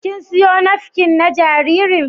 Kin siyo nafkin na jaririn?